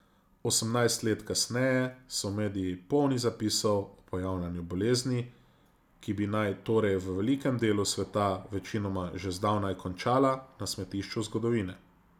Osemnajst let kasneje so mediji polni zapisov o pojavljanju bolezni, ki bi naj torej v velikem delu sveta večinoma že zdavnaj končala na smetišču zgodovine.